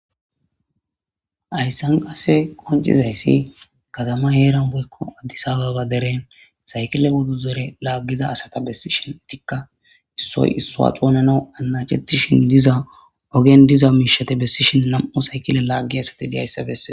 Hayssan qase qoncizayssi katama yeeran boykko addisababa deren saykile woddu zore laaggiza asata bessishin etikka issoy issoa xounana anacetishin diza ogen diza miishate bessishin nam7u saykile laaggi asati diyayssabese